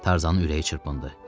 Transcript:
Tarzanın ürəyi çırpındı.